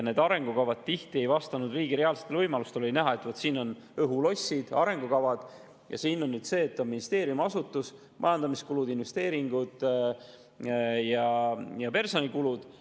Need arengukavad ei vastanud tihti riigi reaalsetele võimalustele – oli näha, et vaat siin on õhulossid, arengukavad ja siin on ministeeriumi asutus, selle majandamiskulud, investeeringud ja personalikulud.